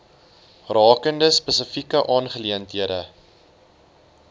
rakende spesifieke aangeleenthede